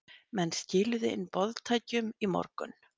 Menn skiluðu inn boðtækjum í morgun